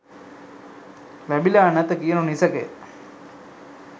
ලැබිලා නැත කියනු නිසැකය.